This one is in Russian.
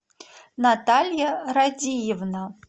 наталья радиевна